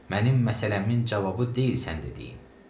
Mənim məsələmin cavabı deyil sənin dediyin.